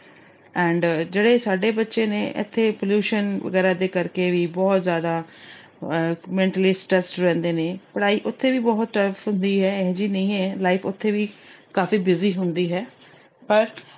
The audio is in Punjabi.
and ਜਿਹੜੇ ਸਾਡੇ ਬੱਚੇ ਨੇ, ਇੱਥੇ pollution ਵਗੈਰਾ ਦੇ ਕਰਕੇ ਵੀ ਬਹੁਤ ਜਿਆਦਾ ਅਹ mentally stressed ਰਹਿੰਦੇ ਨੇ। ਪੜ੍ਹਾਈ ਉੱਥੇ ਵੀ ਬਹੁਤ tough ਹੁੰਦੀ ਏ, ਇਹੋ ਜੀ ਨਹੀਂ ਹੈ life ਉੱਥੇ ਵੀ, ਕਾਫੀ busy ਹੁੰਦੀ ਹੈ ਪਰ